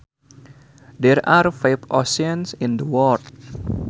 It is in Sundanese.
There are five oceans in the world